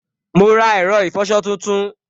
Mo ra ẹ̀rọ ìfọsọ tuntun